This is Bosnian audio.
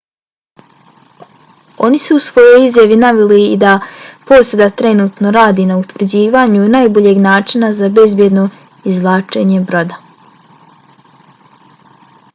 oni su u svojoj izjavi naveli i da posada trenutno radi na utvrđivanju najboljeg načina za bezbjedno izvlačenje broda.